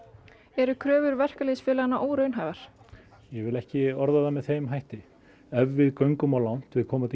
eru kröfur verkalýðsfélaganna óraunhæfar ég vil ekki orða það með þeim hætti ef við göngum of langt við komandi